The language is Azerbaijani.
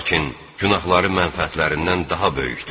Lakin günahları mənfəətlərindən daha böyükdür.